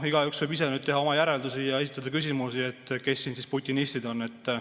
Igaüks võib ise teha oma järeldusi ja esitada küsimusi, kes siin siis putinistid on.